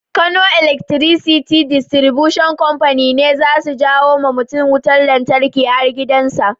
Kano Electricity Distribution Company ne zasu jawa mutun lantarki har gidan sa